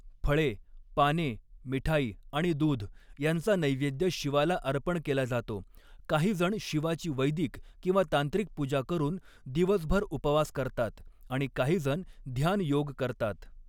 फळे, पाने, मिठाई आणि दूध यांचा नैवेद्य शिवाला अर्पण केला जातो, काहीजण शिवाची वैदिक किंवा तांत्रिक पूजा करून दिवसभर उपवास करतात आणि काहीजण ध्यान योग करतात.